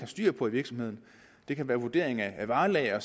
styr på i virksomheden det kan være vurdering af varelager